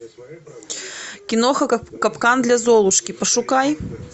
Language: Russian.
киноха капкан для золушки пошукай